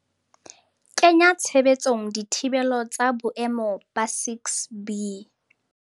kenya tshebetsong dithibelo tsa boemo ba 6B.